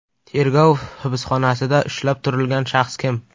Tergov hibsxonasida ushlab turilgan shaxs kim?